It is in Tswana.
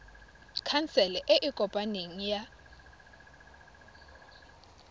khansele e e kopaneng ya